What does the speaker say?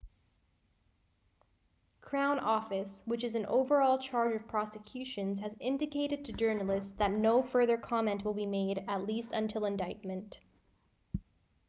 crown office which is in overall charge of prosecutions has indicated to journalists that no further comment will be made at least until indictment